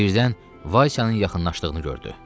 Birdən Vaysanın yaxınlaşdığını gördü.